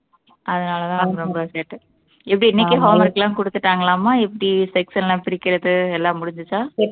அதனாலதான் அவங்க ரொம்ப சேட்டை எப்படி இன்னைக்கே home work லாம் குடுத்துட்டாங்களாமா எப்படி section ல எல்லாம் பிரிக்கிறது எல்லாம் முடிஞ்சுச்சா